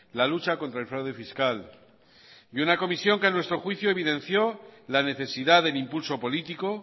la lucha contra el fraude fiscal y una comisión que a nuestro juicio evidenció la necesidad del impulso político